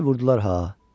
Ay vurdular ha.